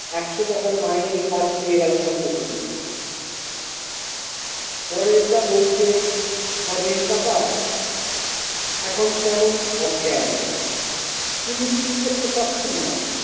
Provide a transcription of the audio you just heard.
একশো টাকার মাইনের কাজ পেয়ে গেল সঙ্গে সঙ্গে পরেশ দা বলতে খগেন কাকা এখন কেমন অজ্ঞান পুলু ঠিক করতে পারছেনা।